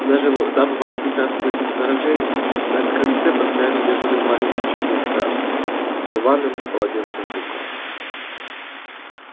дабы воспрепятствовать их вторжению на крыльце постоянно дежурил маленький чёрный страж с рваным полотенцем в руках